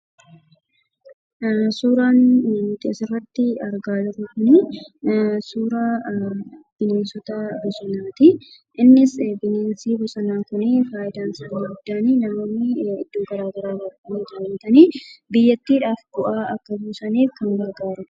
Suuraan nuti asirratti argaa jirru kunii suuraa bineensota bosonaatii. Innis bineensi bosonaa kunii fayidaan inni guddaan namoonni iddoo garaagaraarraa dhufanii daawwatanii biyyattiidhaaf bu'aa akka buusaniif kan gargaarudha.